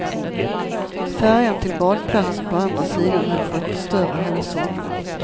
Färjan till badplatsen på andra sidan höll på att förstöra hela sommaren.